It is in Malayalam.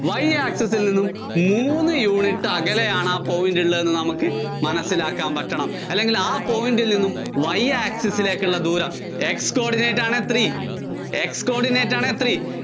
Y access ല്‍ നിന്നും മൂന്ന് unit അകലെയാണ് ആ point ഉള്ളതെന്ന് നമുക്ക് മനസ്സിലാക്കാന്‍ പറ്റണം. അല്ലെങ്കില്‍ ആ point ല്‍ നിന്നും Y access ലേക്കുള്ള ദൂരം Xcoordinate ആണ് three, X coordinate ആണ് three.